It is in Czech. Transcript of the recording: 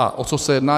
A o co se jedná?